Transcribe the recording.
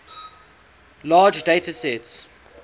large data sets